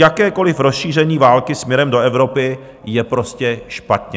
Jakékoliv rozšíření války směrem do Evropy je prostě špatně.